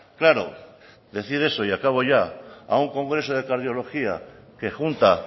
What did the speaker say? claro decir eso y acabo ya a un congreso de cardiología que junta